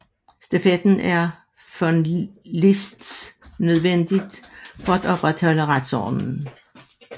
Straffen er efter von Liszt nødvendig for at opretholde retsordenen